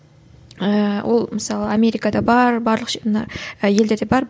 ііі ол мысалы америкада бар барлық мына і елдерде бар